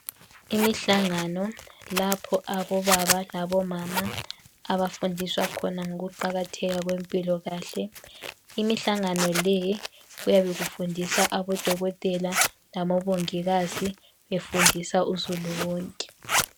Imihlangano lapho abobaba labo mama abafundiswa khona ngokuqakatheka kwempilokahle imihlangano le kuyabe kufundisa abodokotela labobongikazi befundisa uzulu wonke.